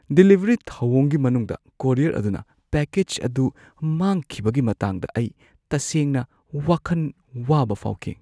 Delivery ꯊꯧꯑꯣꯡꯒꯤ ꯃꯅꯨꯡꯗ courier ꯑꯗꯨꯅ ꯄꯦꯀꯦꯖ ꯑꯗꯨ ꯃꯥꯡꯈꯤꯕꯒꯤ ꯃꯇꯥꯡꯗ ꯑꯩ ꯇꯁꯦꯡꯅ ꯋꯥꯈꯟ ꯋꯥꯕ ꯐꯥꯎꯈꯤ꯫